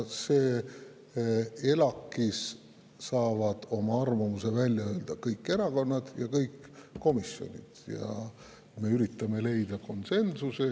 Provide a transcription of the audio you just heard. ELAK‑is saavad oma arvamuse välja öelda kõik erakonnad ja kõik komisjonid ning me üritame leida konsensust.